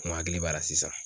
N hakili b'a la sisan